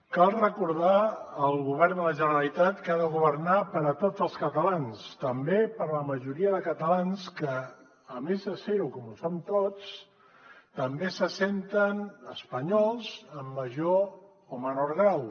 cal recordar al govern de la generalitat que ha de governar per a tots els catalans també per a la majoria de catalans que a més de ser ho com ho som tots també se senten espanyols en major o menor grau